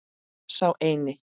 Sá eini.